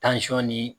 ni